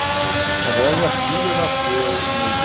Não sei. A minha filha nasceu em